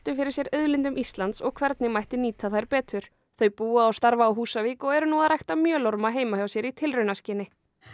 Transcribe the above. fyrir sér auðlindum Íslands og hvernig mætti nýta þær betur þau búa og starfa á Húsavík og eru nú að rækta heima hjá sér í tilraunaskyni